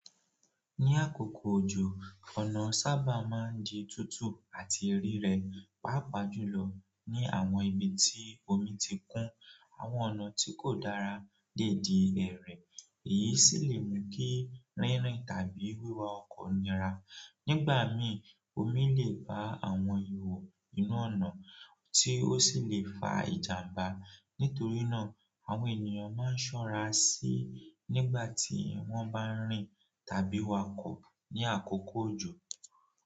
Ní àkókò òjò, ọ̀nà sábà máa ń di tútù àti rirẹ, pàápàá jùlọ ní àwọn ibi tí omi ti kún àwọn ọ̀nà tí kò dára déèdì ẹ̀rẹ̀. Èyí sì lè mú kí rínrin tàbí wíwa ọkọ̀ nira. Nígbà mí, omi lè ba àwọn ihò inú ọ̀nà, tí ó sì lè fa ìjàmbá. Nítorí náà àwọn ènìyàn maa n sora si, nígbà ti won ba n rin tàbí wa oko ni akoko ojo.